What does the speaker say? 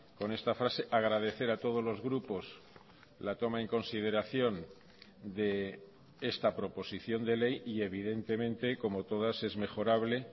con esta frase agradecer a todos los grupos la toma en consideración de esta proposición de ley y evidentemente como todas es mejorable